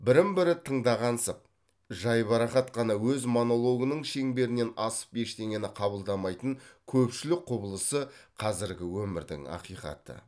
бірін бірі тыңдағансып жайбарақат қана өз монологының шеңберінен асып ештеңені қабылдамайтын көпшілік құбылысы қазіргі өмірдің ақиқаты